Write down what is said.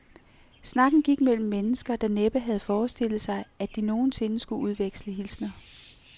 Snakken gik mellem mennesker, der næppe havde forestillet sig, at de nogen sinde skulle udveksle hilsner.